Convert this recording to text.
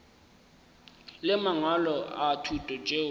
le mangwalo a thuto tšeo